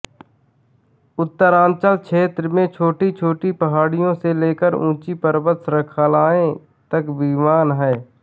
उत्तरांचल क्षेत्र में छोटीछोटी पहाड़ियों से लेकर उँची पर्वत श्रंखलाये तक विद्यमान हैं